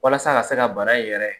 Walasa a ka se ka bana in yɛrɛ